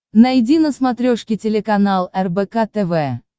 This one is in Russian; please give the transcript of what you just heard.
найди на смотрешке телеканал рбк тв